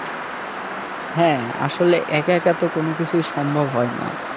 হ্যাঁ আসলে একা একা তো কোন কিছুই সম্ভব হয় না।